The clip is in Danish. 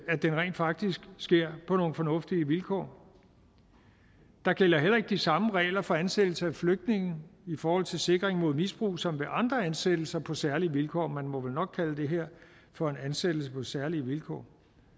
det rent faktisk sker på nogle fornuftige vilkår der gælder heller ikke de samme regler for ansættelse af flygtninge i forhold til sikring mod misbrug som ved andre ansættelser på særlige vilkår og man må vel nok kalde det her for en ansættelse på særlige vilkår